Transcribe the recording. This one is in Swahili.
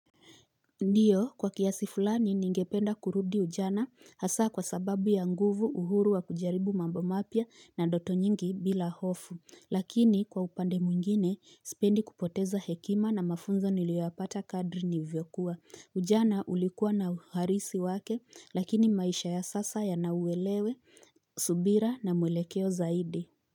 Ndiyo kwa kiasi fulani ningependa kurudi ujana hasaa kwa sababu ya nguvu uhuru wa kujaribu mambo mapya na ndoto nyingi bila hofu lakini kwa upande mwingine spendi kupoteza hekima na mafunzo niliwapata kadri nivyokuwa ujana ulikuwa na uharisi wake lakini maisha ya sasa yanauwelewe subira na mwelekeo zaidi.